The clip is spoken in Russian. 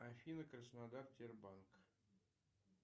афина краснодар тербанк